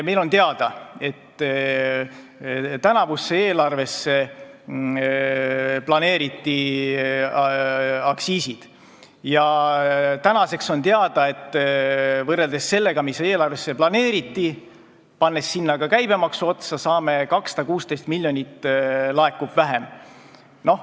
Meile on teada, et tänavusse eelarvesse planeeriti aktsiisid, ja tänaseks on teada, et võrreldes sellega, mis eelarvesse planeeriti, pannes sinna ka käibemaksu otsa, laekub 216 miljonit vähem.